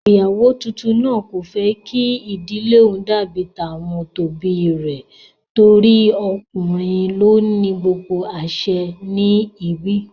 Ìyàwó tuntun náà kò fẹ́ kí ìdílé òun dàbí tàwọn òbí rẹ̀ torí ọkùnrin ló ní gbogbo àsẹ ní ibi